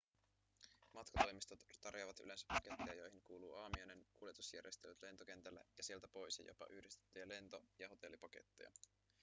matkatoimistot tarjoavat yleensä paketteja joihin kuuluu aamiainen kuljetusjärjestelyt lentokentälle ja sieltä pois ja jopa yhdistettyjä lento- ja hotellipaketteja